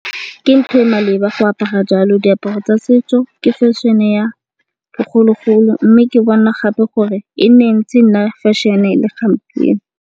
Ke ntho e maleba go apara jalo diaparo tsa setso ke fashion-e ya bogologolo mme ke bona gape gore e nne ntse e nna fashion-e le gompieno.